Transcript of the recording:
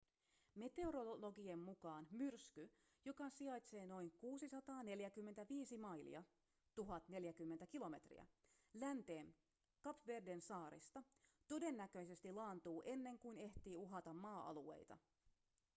meteorologien mukaan myrsky joka sijaitsee noin 645 mailia 1 040 km länteen kap verden saarista todennäköisesti laantuu ennen kuin ehtii uhata maa-alueita